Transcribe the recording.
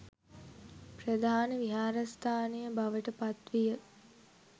ප්‍රධාන විහාරස්ථානය බවට පත්විය.